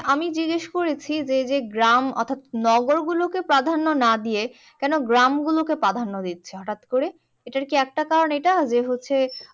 আমি জিজ্ঞেস করেছি যে যে গ্রাম অর্থাৎ নগর গুলোকে প্রাধান্য না দিয়ে কেন গ্রাম গুলোকে প্রাধান্য দিচ্ছে হঠাৎ করে? এটার কি একটা কারণ এটা যে হচ্ছে